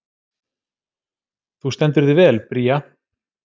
Þú stendur þig vel, Bría!